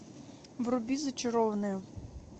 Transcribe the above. вруби зачарованные